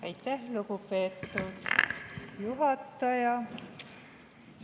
Aitäh, lugupeetud juhataja!